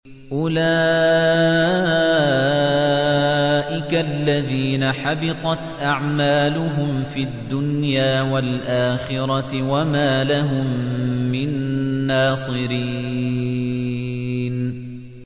أُولَٰئِكَ الَّذِينَ حَبِطَتْ أَعْمَالُهُمْ فِي الدُّنْيَا وَالْآخِرَةِ وَمَا لَهُم مِّن نَّاصِرِينَ